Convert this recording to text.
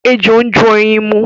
Ejò ń jó ẹyin mu.